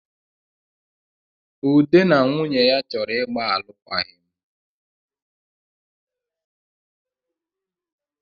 Ude na nwunye ya chọrọ ịgbaalụkwaghị m